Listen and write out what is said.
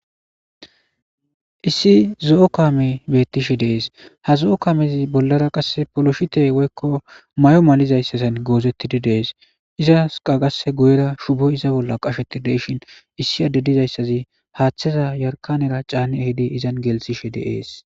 issi zo'o kame beettishe dees ha zo'o kaamezi bollara qasse poloshite woykko may7o malizayssazan goozettidi dees izas qagase guyera shubo iza bolla qasheti deyshin issi addedizayssazi haaththeza yarkanera caani ehidi izan gelsishe de'es